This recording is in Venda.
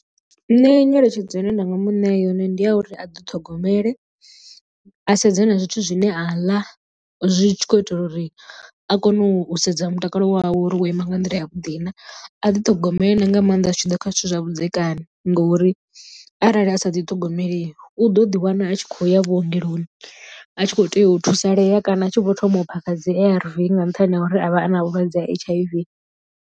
Nṋe nyeletshedzo ine nda nga muṋea yone ndi ya uri a ḓiṱhogomele a sedze na zwithu zwine a ḽa zwi tshi khou itela uri a kone u sedza mutakalo wawe uri wo ima nga nḓila ya vhuḓi na. A ḓiṱhogomele na nga maanḓa zwi tshi ḓa kha zwithu zwa vhudzekani ngori arali a sa ḓi ṱhogomeli u ḓo ḓi wana a tshi kho ya vhuongeloni a tshi kho tea u thusalea kana a tshi vho thoma u phakha dzi A_R_V nga nṱhani ha uri a vha a na vhulwadze ha H_I_V.